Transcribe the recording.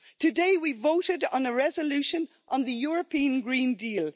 Today we voted on a resolution on the European Green Deal.